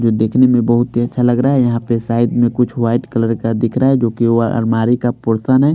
जो देखने में बहुत ही अच्छा लग रहा है यहाँ पे साइड में कुछ व्हाईट कलर का दिख रहा है जोकि वो अलमारी का पोर्सन है।